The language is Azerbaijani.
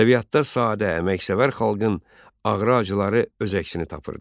Ədəbiyyatda sadə, əməksevər xalqın ağrı-acıları öz əksini tapırdı.